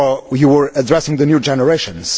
You were addressing the new generations.